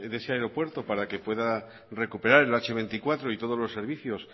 de ese aeropuerto para que pueda recuperar el hache veinticuatro y todos los servicios